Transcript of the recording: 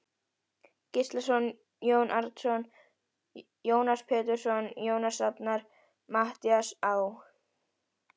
Gíslason, Jón Árnason, Jónas Pétursson, Jónas Rafnar, Matthías Á.